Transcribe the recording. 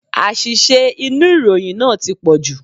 Àṣìṣe inú ìròyìn náà tí pọ̀jù.